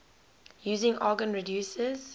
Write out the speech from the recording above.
using argon reduces